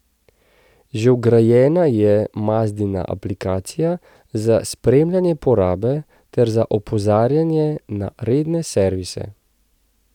Že vgrajena je Mazdina aplikacija za spremljanje porabe ter za opozarjanje na redne servise.